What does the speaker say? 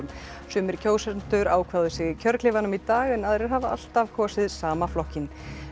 sumir kjósendur ákváðu sig í kjörklefanum í dag en aðrir hafa alltaf kosið sama flokkinn